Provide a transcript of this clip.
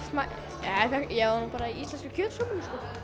var nú bara í íslenskri kjötsúpu sko